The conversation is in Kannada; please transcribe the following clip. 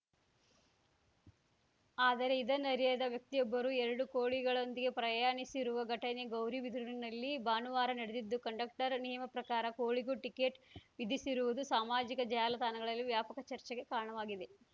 ಆದರೆ ಇದನ್ನರಿಯದ ವ್ಯಕ್ತಿಯೊಬ್ಬರು ಎರಡು ಕೋಳಿಗಳೊಂದಿಗೆ ಪ್ರಯಾಣಿಸಿರುವ ಘಟನೆ ಗೌರಿಬಿದನೂರಿನಲ್ಲಿ ಭಾನುವಾರ ನಡೆದಿದ್ದು ಕಂಡಕ್ಟರ್‌ ನಿಯಮಪ್ರಕಾರ ಕೋಳಿಗೂ ಟಿಕೆಟ್‌ ವಿಧಿಸಿರುವುದು ಸಾಮಾಜಿಕ ಜಾಲತಾಣಗಳಲ್ಲಿ ವ್ಯಾಪಕ ಚರ್ಚೆಗೆ ಕಾರಣವಾಗಿದೆ